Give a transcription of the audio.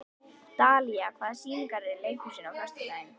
Dalía, hvaða sýningar eru í leikhúsinu á föstudaginn?